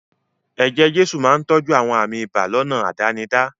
Eje-jesu máa ń tọ́jú àwọn àmì ibà lọ́nà àdánidá.